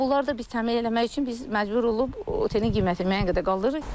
Və bunlar da biz təmin eləmək üçün biz məcbur olub otelin qiymətini müəyyən qədər qaldırırıq.